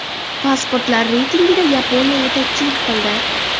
Pasportlar reytingida Yaponiya yetakchilik qildi.